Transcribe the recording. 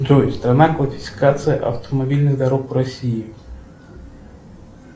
джой страна классификация автомобильных дорог в россии